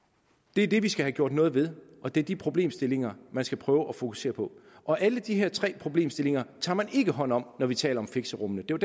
det er det vi skal have gjort noget ved og det er de problemstillinger man skal prøve at fokusere på og alle de her tre problemstillinger tager man ikke hånd om når vi taler om fixerummene det